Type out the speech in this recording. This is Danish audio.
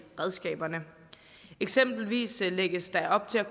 redskaberne eksempelvis lægges der op til at